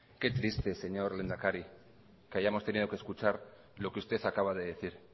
qué triste señor lehendakari que hayamos tenido que escuchar lo que usted acaba de decir